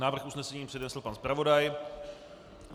Návrh usnesení přednesl pan zpravodaj.